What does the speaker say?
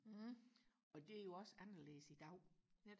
og det er jo også anderledes i dag